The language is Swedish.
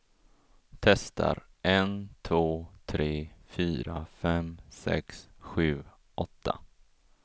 Testar en två tre fyra fem sex sju åtta.